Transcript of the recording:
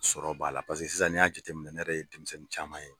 Sɔrɔ b'a la paseke sisan n'i y'a jateminɛ ne yɛrɛ ye denmisɛnnin caman ye